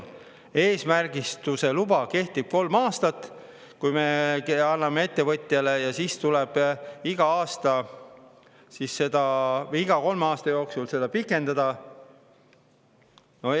märgistuse luba kehtib kolm aastat, kui me anname selle ettevõtjale, ja siis tuleb seda kolme aasta pikendada.